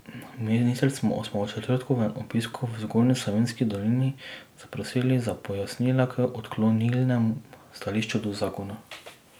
Ministrico smo ob četrtkovem obisku v Zgornji Savinjski dolini zaprosili za pojasnila k odklonilnemu stališču do zakona.